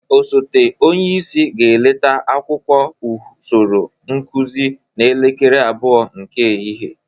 Osote onyeisi ga-eleta akwụkwọ usoro nkụzị n'elekere abụọ nke ehihe.